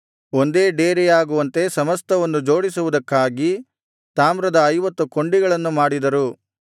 ಒಂದೇ ಡೇರೆಯಾಗುವಂತೆ ಸಮಸ್ತವನ್ನು ಜೋಡಿಸುವುದಕ್ಕಾಗಿ ತಾಮ್ರದ ಐವತ್ತು ಕೊಂಡಿಗಳನ್ನು ಮಾಡಿದರು